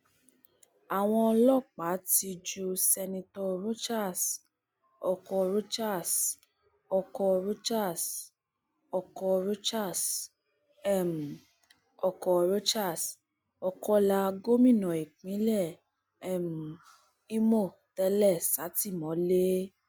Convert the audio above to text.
àwọn ọlọpàá ti ju seneto rochas oko rochas oko rochas oko rochas um oko rochas ọkọlá gómìnà ìpínlẹ um ìmọ tẹlẹ sátìmọlé